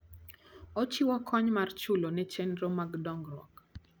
Ochiwo kony mar chulo ne chenro mag dongruok.